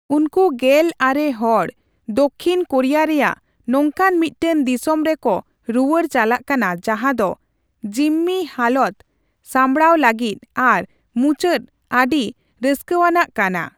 ᱩᱱᱠᱩ ᱜᱮᱞ ᱟᱨᱮ ᱦᱚᱲ ᱫᱚᱠᱠᱷᱤᱱ ᱠᱳᱨᱤᱭᱟ ᱨᱮᱭᱟᱜ ᱱᱚᱝᱠᱟᱱ ᱢᱤᱫᱴᱟᱝ ᱫᱤᱥᱚᱢ ᱨᱮᱠᱚ ᱨᱩᱣᱟᱹᱲ ᱪᱟᱞᱟᱜ ᱠᱟᱱᱟ ᱡᱟᱦᱟᱸ ᱫᱚ ᱡᱤᱢᱢᱤ ᱦᱟᱞᱚᱛ ᱥᱟᱸᱵᱽᱲᱟᱣ ᱞᱟᱹᱜᱤᱫ ᱟᱨ ᱢᱩᱪᱟᱹᱫ ᱟᱹᱰᱤ ᱨᱟᱹᱥᱠᱟᱣᱟᱱᱟᱜ ᱠᱟᱱᱟ ᱾